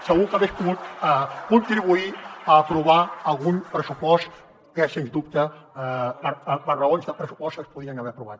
pogut contribuir a aprovar algun pressupost que sens dubte per raons de pressupost es podria haver aprovat